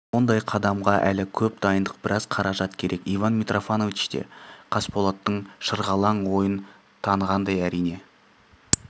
ондай қадамға әлі көп дайындық біраз қаражат керек иван митрофанович те қасболаттың шырғалаң ойын танығандай әрине